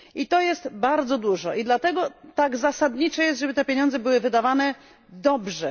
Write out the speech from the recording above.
To jest bardzo dużo i dlatego tak ważne jest, by te pieniądze były wydawane dobrze.